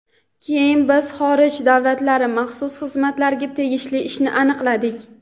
Keyin biz xorij [davlati] maxsus xizmatlariga tegishli ishni aniqladik.